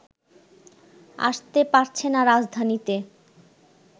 আসতে পারছে না রাজধানীতে